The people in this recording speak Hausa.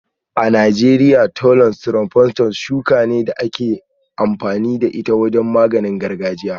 A Najeriya, Thollon strophanthus shuka ce ta magani da ake amfani da ita wajen maganin gargajiya.